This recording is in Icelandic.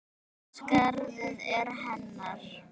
Skarðið er hennar.